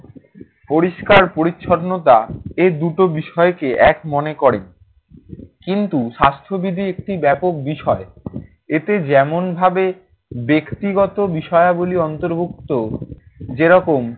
পরিষ্কার পরিচ্ছন্নতা এ দুটো বিষয়কে এক মনে করে। কিন্তু স্বাস্থ্যবিধি একটি ব্যাপক বিষয়। এতে যেমনভাবে ব্যক্তিগত বিষয়াবলী অন্তর্ভুক্ত, যেরকম